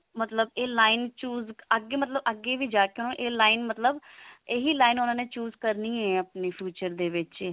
ਮਤਲਬ ਇਹ line choose ਮਤਲਬ ਅੱਗੇ ਵੀ ਜਾ ਕਿ ਉਹਨੂੰ ਇਹ line ਮਤਲਬ ਇਹੀ line ਉਹਨਾਂ ਨੇ choose ਕਰਨੀ ਹੈ ਆਪਣੀ future ਦੇ ਵਿੱਚ